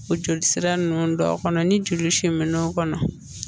O joli sira nunnu dɔw kɔnɔ ni joli siminnaw kɔnɔ